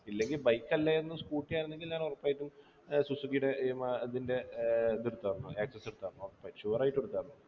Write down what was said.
ഇല്ലെങ്ങി bike അല്ലായിരുന്നു scooter ആയിരുന്നെങ്കിൽ ഞാനൊറപ്പായിട്ടും ഏർ സുസുക്കീടെ ഏർ മാ അതിൻ്റെ ഏർ അതെടുത്തർന്നു access എടുത്താരുന്നു ഉറപ്പായിട്ടും sure ആയിട്ടും എടുത്താരുന്നു